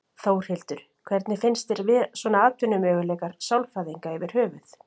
Þórhildur: Hvernig finnst þér svona atvinnumöguleikar sálfræðinga yfir höfuð?